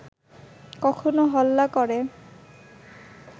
কখনো হল্লা ক’রে